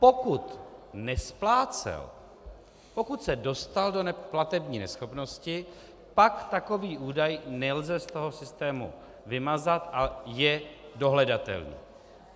Pokud nesplácel, pokud se dostal do platební neschopnosti, pak takový údaj nelze z toho systému vymazat a je dohledatelný.